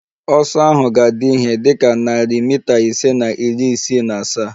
Ọsọ ahụ ga-adị ihe dị ka narị mita ise na iri isii na asaa